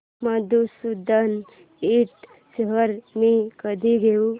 मधुसूदन इंड शेअर्स मी कधी घेऊ